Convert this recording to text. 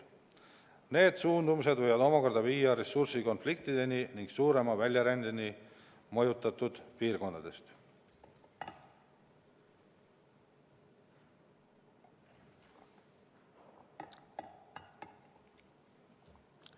Need suundumused võivad omakorda viia ressurssidega seotud konfliktideni ning suurema väljarändeni mõjutatud piirkondadest.